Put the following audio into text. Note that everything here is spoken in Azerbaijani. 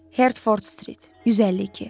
Herford Street 152.